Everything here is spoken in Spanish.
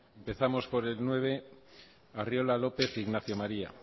empezamos por el nueve arriola lopez ignacio maría